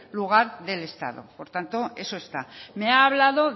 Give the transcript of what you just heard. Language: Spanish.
lugar del estado por tanto eso está me ha hablado